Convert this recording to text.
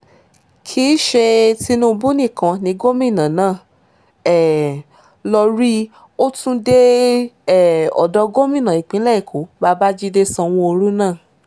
kì í ṣe tinubu nìkan ni gómìnà náà um lọọ́ rí ó tún dé um odò gómìnà ìpínlẹ̀ èkó babájídé sanwóoru náà